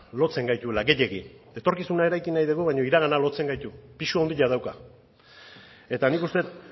lotzen gaituela gehiegi etorkizuna eraiki nahi dugu baina iragana lotzen gaitu pisu handia dauka eta nik uste dut